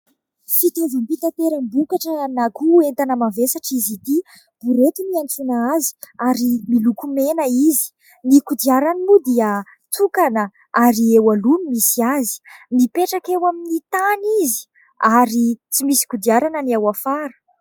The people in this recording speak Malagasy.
fitaovam-bitaperam-bokatra anagonan' entana mavesatra izy ity:" borety" no iantsoana azy ary miloko mena izy, ny kodiarany moa dia tokana ary eo aloha no misy azy, nipetraka eo amin'ny tany izy ary tsy misy kodiarana ny ao afara